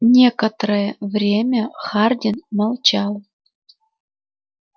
некоторое время хардин молчал